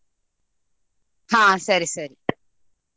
ಹಾ ಸರಿ ಸರಿ .